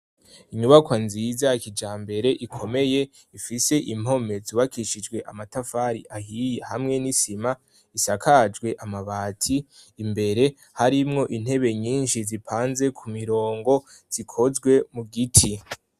Inyubako nziza ya kijambere ikomeye, ifise impome zubakishijwe amatafari ahiye hamwe n'isima, isakajwe amabati; imbere harimwo intebe nyinshi zipanze ku mirongo zikozwe mu giti.